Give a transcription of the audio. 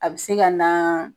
A be se ka nan